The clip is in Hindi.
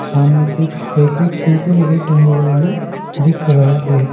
सामने कुछ पैकेट कुरकुरे के टंगे हुए भी दिख रहे हैं।